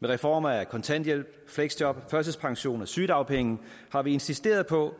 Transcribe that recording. med reformer af kontanthjælp fleksjob førtidspension og sygedagpenge har vi insisteret på